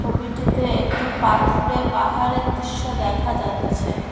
ছবিটিতে একটি পাথুরে পাহাড়ের দিশ্য দেখা যাচ্ছে।